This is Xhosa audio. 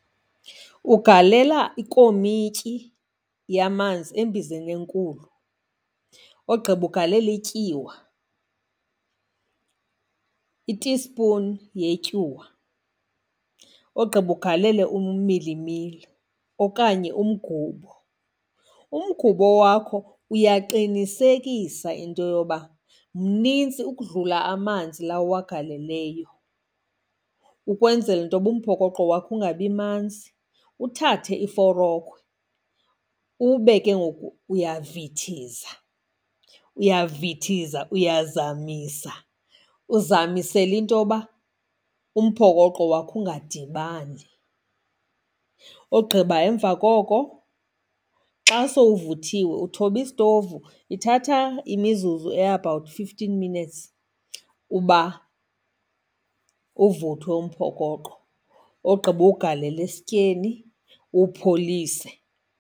Ugalela ikomityi yamanzi embizeni enkulu, ogqiba ugalele ityiwa, itispuni yetyuwa. Ogqiba ugalele umilimili okanye umgubo. Umgubo wakho uyaqinisekisa into yoba mnintsi ukudlula amanzi la uwagaleleyo, ukwenzela into yoba umphokoqo wakho ungabi manzi. Uthathe iforokhwe ube ke ngoku uyavithiza, uyavithiza, uyazamisa, uzamisela into yoba umphokoqo wakho ungadibani. Ogqiba emva koko xa sowuvuthiwe uthoba isitovu, ithatha imizuzu e-about fifteen minutes uba uvuthwe umphokoqo. Wogqiba uwugalele esityeni uwupholise.